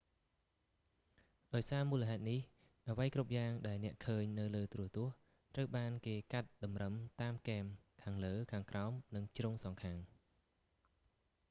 ដោយសារមូលហេតុនេះ អ្វីគ្រប់យ៉ាងដែលអ្នកឃើញនៅលើទូរទស្សន៍ ត្រូវបានគេកាត់តម្រឹមតាមគែម ខាងលើ ខាងក្រោម និងជ្រុងសងខាង